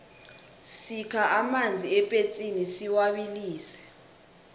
sikha amanzi epetsini siwabilise